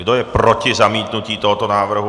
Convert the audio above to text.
Kdo je proti zamítnutí tohoto návrhu?